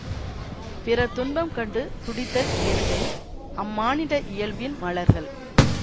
பிறர் துன்பம் கண்டு துடித்தல் இயற்கை அம்மானிட இயல்பின் மலர்கள்